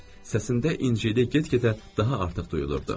Səsində incəlik get-gedə daha artıq duyulurdu.